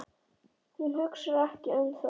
Hún hugsar ekki um það.